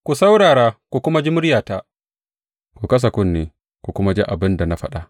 Ku saurara ku kuma ji muryata; ku kasa kunne ku kuma ji abin da na faɗa.